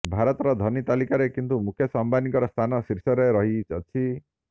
ଭାରତର ଧନୀ ତାଲିକାରେ କିନ୍ତୁ ମୁକେସ ଅମ୍ବାନୀଙ୍କର ସ୍ଥାନ ଶୀର୍ଷ ରେ ରହିଅଛି